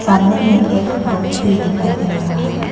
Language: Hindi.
सामने में एक बॉक्स भी दिखाई दे रहा है।